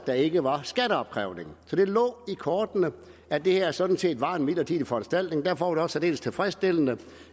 der ikke var skatteopkrævning så det lå i kortene at det her sådan set var en midlertidig foranstaltning og derfor var særdeles tilfredsstillende